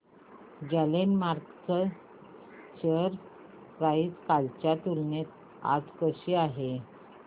Glenmark ची share price कालच्या तुलनेत आज कशी आहे